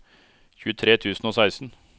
tjuetre tusen og seksten